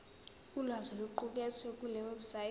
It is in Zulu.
ulwazi oluqukethwe kulewebsite